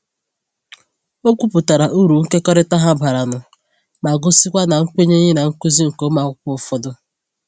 O kwuputara uru nkekọrịta ha bara nụ ma gosikwa na kwenyeghị na nkuzi nke ụmụ akwụkwọ ụfọdụ.